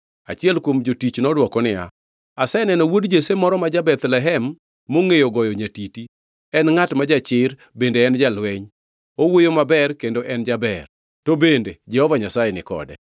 Achiel kuom jotich nodwoko niya, “Aseneno wuod Jesse moro ma ja-Bethlehem mongʼeyo goyo nyatiti. En ngʼat ma jachir bende en jalweny. Owuoyo maber kendo en jaber. To bende Jehova Nyasaye ni kode.”